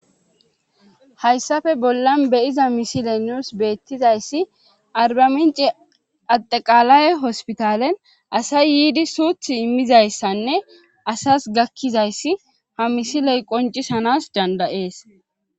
hayssafe bollan beyiza misile nuus beettizayssi arbamince adeqaalay hospitalen asay yiidi suuth immizayssanne asas gakkizayssi ha misiley qoncisanas dandayees